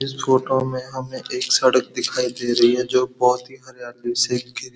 इस फ़ोटो में हमें एक सड़क दिखाई दे रही है जो बहोत ही हरियाली से घिरी --